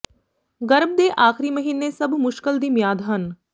ਗਰਭ ਦੇ ਆਖਰੀ ਮਹੀਨੇ ਸਭ ਮੁਸ਼ਕਲ ਦੀ ਮਿਆਦ ਹਨ